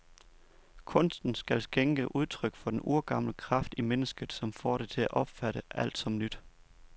Kunsten skal skænke udtryk for den urgamle kraft i mennesket, som får det til at opfatte alt som nyt.